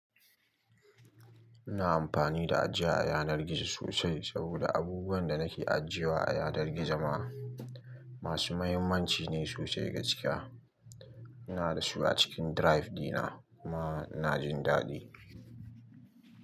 Ina amfani da ajiya a yanar gizo sosai saboda abubuwan da nake ajiyewa a yanar gizo ma masu mahimmanci ne sosai gaskiya ina da su a cikin drive dina kuma ina jin daɗi.